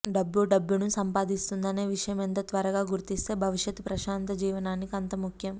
డబ్బు డబ్బును సంపాదిస్తుంది అనే విషయం ఎంత త్వరగా గుర్తిస్తే భవిష్యత్తు ప్రశాంత జీవనానికి అంత ముఖ్యం